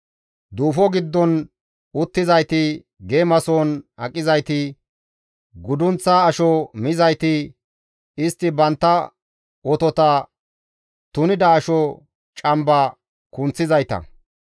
Duufo giddon uttizayti, geemasohon aqizayti, guddunththa asho mizayti, istti bantta otota tunida asho camba kunththizayta.